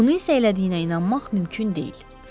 Bunu isə elədiyinə inanmaq mümkün deyil.